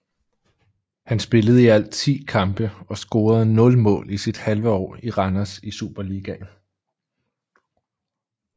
Han spillede i alt ti kampe og scorede nul mål i sit halve år i Randers i Superligaen